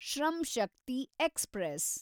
Shram Shakti express